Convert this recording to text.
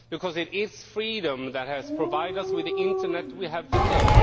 Because it is freedom that has provided us with the internet we have today